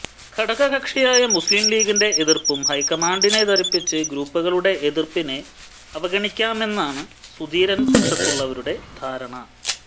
ഘടകകക്ഷിയായ മുസ്ലിം ലീഗിന്റെ എതിർപ്പും ഹൈക്കമാൻണ്ടിനെ ധരിപ്പിച്ച് ഗ്രൂപ്പുകളുടെ എതിർപ്പിനെ അവഗണിക്കാമെന്നാണ് സുധീരന്റെ പക്ഷത്തുള്ളവരുടെ ധാരണ